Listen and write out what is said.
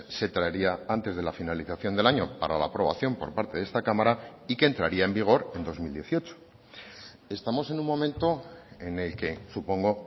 se traería antes de la finalización del año para la aprobación por parte de esta cámara y que entraría en vigor en dos mil dieciocho estamos en un momento en el que supongo